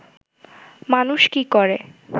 মানুষ কি করে